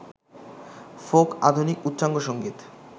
folk, আধুনিক, উচ্চাঙ্গসংগীত,